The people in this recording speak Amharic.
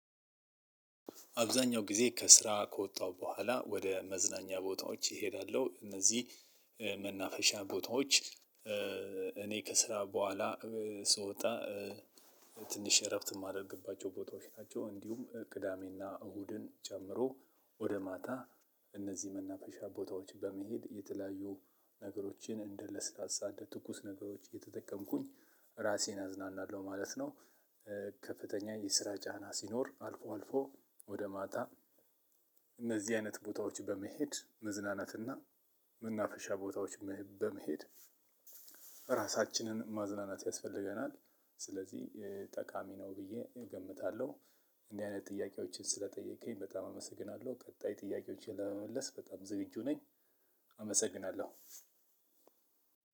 አብዛኛው ጊዜ ከስራ ከወጣሁ በኋላ ወደ መዝናኛ ቦታዎች እሄዳለሁ እነዚህ መናፈሻ ቦታዎች። እኔ ከስራ በኋላ ስወጣ ትንሽ እረፍት የማደርግባቸው ቦታዎች ናቸው። እንዲሁም ቅዳሜና እሁድን ጨምሮ ወደ ማታ እነዚህ መናፈሻ ቦታዎች በመሄድ የተለያዩ ነገሮችን እንደ ለስላሳ እንደ ትኩስ ነገሮች እየተጠቀምኩኝ እራሴን አዝናናለሁ ማለት ነው። ከፍተኛ የስራ ጫና ሲኖር አልፎ አልፎ ወደ ማታ እነዚህ አይነት ቦታዎች በመሄድ መዝናናትና መናፈሻ ቦታዎች በመሄድ እራሳችንን ማዝናናት ያስፈልገናል። ስለዚህ ጠቃሚ ነው ብዬ እገምታለሁ። እንዲህ አይነት ጥያቄዎችን ስለጠየከኝ በጣም አመሰግናለሁ። ቀጣይ ጥያቄዎችን ለመመለስ በጣም ዝግጁ ነኝ። አመሰግናለሁ።